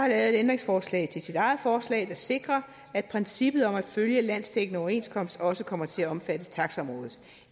et ændringsforslag til sit eget forslag der sikrer at princippet om at følge landsdækkende overenskomst også kommer til at omfatte taxaområdet